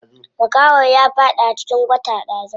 Makahon ya faɗi a cikin kwata ɗazu.